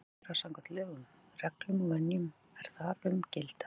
ráðherra samkvæmt lögum, reglum og venjum, er þar um gilda.